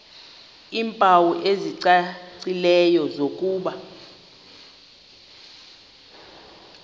iimpawu ezicacileyo zokuba